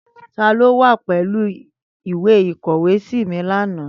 Tani o wa pẹlu ìwe ìkọ̀wésí mi lana?